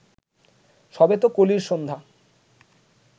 সবে তো কলির সন্ধ্যা